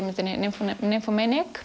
myndinni